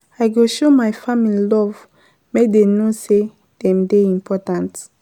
I go show my family love make dem know sey dem dey important.